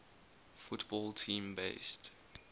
football team based